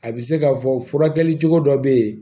A bɛ se k'a fɔ furakɛli cogo dɔ bɛ yen